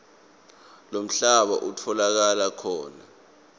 lomhlaba utfolakala khona